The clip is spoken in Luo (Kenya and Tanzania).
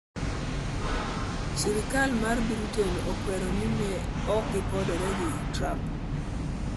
Sirkal mar Britain okwero ni ok ne gipondore gi Trump